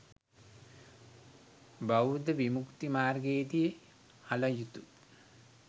බෞද්ධ විමුක්ති මාර්ගයේදී හළ යුතු